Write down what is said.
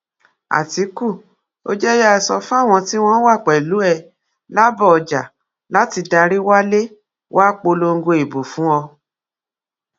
àtìkù ò jẹ yáa sọ fáwọn tí wọn wà pẹlú ẹ làbójà láti darí walẹ wàá polongo ìbò fún ọ